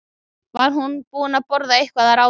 Var hún búin að borða eitthvað að ráði?